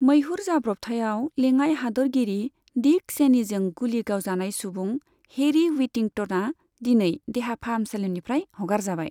मैहुर जाब्रबथायाव लेङाइ हादोरगिरि डिक चेनीजों गुलि गावजानाय सुबुं हेरी व्हिटिंटना दिनै देहा फाहामसालिनिफ्राय हगारजाबाय।